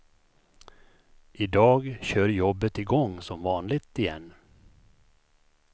I dag kör jobbet i gång som vanligt igen.